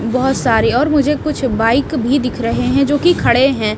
बहुत सारी और मुझे कुछ बाइक भी दिख रहे हैं जोकि खड़े हैं।